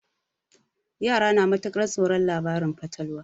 Yara na matuƙar tsoron labaren fatalwa.